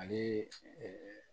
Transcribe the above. Ani